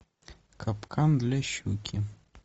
капкан для щуки